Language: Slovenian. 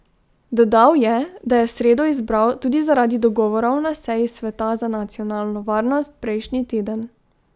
Dodal je, da je sredo izbral tudi zaradi dogovorov na seji sveta za nacionalno varnost prejšnji teden.